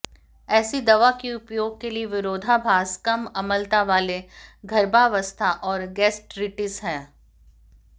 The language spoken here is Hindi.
ऐसी दवा के उपयोग के लिए विरोधाभास कम अम्लता वाले गर्भावस्था और गैस्ट्र्रिटिस है